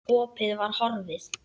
Ég þrýsti hönd Helga.